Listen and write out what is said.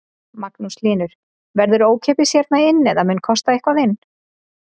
Magnús Hlynur: Verður ókeypis hérna inn eða mun kosta eitthvað inn?